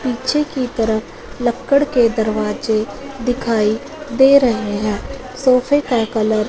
पीछे की तरफ लक्कड़ के दरवाजे दिखाई दे रहे हैं सोफे का कलर --